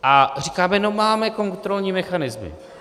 A říkáme: no, máme kontrolní mechanismy.